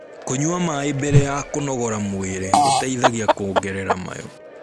kũnyua maĩ mbere ya kũnogora mwĩrĩ gũteithagia kuongerera mayu